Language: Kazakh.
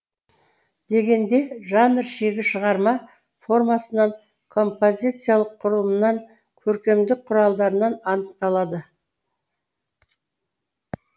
дегенде жанр шегі шығарма формасынан композициялық құрылымынан көркемдік құралдарынан анықталады